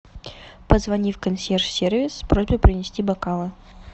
позвони в консьерж сервис с просьбой принести бокалы